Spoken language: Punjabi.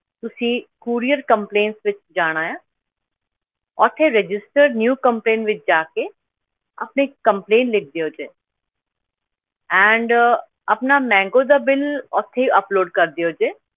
ਤੁਸੀਂ courier complaints ਵਿੱਚ ਜਾਣਾ ਆ ਉੱਥੇ register new complaint ਵਿੱਚ ਜਾ ਕੇ ਆਪਣੀ complaint ਲਿਖ ਦਿਓ ਜੀ and ਆਪਣਾ mango ਦਾ ਬਿੱਲ ਉੱਥੇ ਹੀ upload ਕਰ ਦਿਓ ਜੀ।